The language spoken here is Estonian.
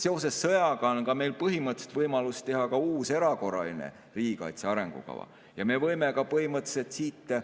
Seoses sõjaga on meil põhimõtteliselt võimalus teha ka uus erakorraline riigikaitse arengukava ja me võime ka põhimõtteliselt siit